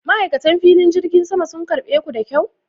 Ma'aikatan filin jirgin sama sun karɓe ku da kyau?